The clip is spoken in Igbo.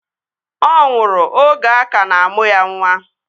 Ọ nwụrụ oge a ka na-amụ ya nwa